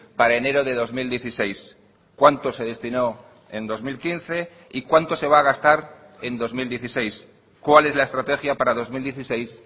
para enero de dos mil dieciséis cuánto se destinó en dos mil quince y cuánto se va a gastar en dos mil dieciséis cuál es la estrategia para dos mil dieciséis